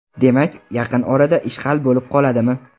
Demak, yaqin orada ish hal bo‘lib qoladimi?